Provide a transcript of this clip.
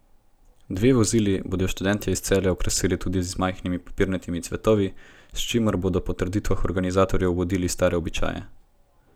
Dve vozili bodo študentje iz Celja okrasili tudi z majhnimi papirnatimi cvetovi, s čimer bodo po trditvah organizatorjev obudili stare običaje.